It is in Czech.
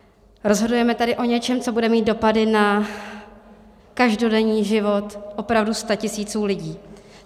Rozhodujeme tady o něčem, co bude mít dopady na každodenní život opravdu statisíců lidí.